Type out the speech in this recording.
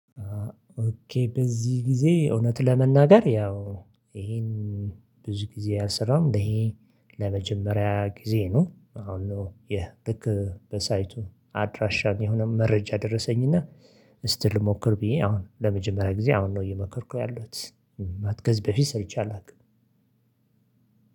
ኦኬ በዚህ ጊዜ እውነት ለመናገር ያው ይሄን ብዙ ጊዜ ያሰራው እንደዚህ ለመጀመሪያ ጊዜ ነው። አሁን ይሄ ልክ በሳይቱ አድራሻ የሆነ መረጃ ደረሰኝና እስቲ ልሞክር ብዬ አሁን ለመጀመሪያ ጊዜ አሁን ነው እየሞከርኩ ያለሁት ማለት ከዚ በፊት ሰርቼ አላውቅም።